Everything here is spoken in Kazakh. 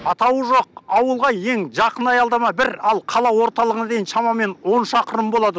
атауы жоқ ауылға ең жақын аялдама бір ал қала орталығына дейін шамамен он шақырым болады